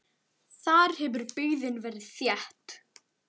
Þar hefur byggðin verið þétt.